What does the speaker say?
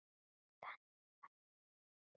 Þannig var mamma ávallt.